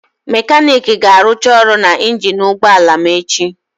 Mekaniiki ga-arụcha ọrụ na injin ụgbọ ala m echi.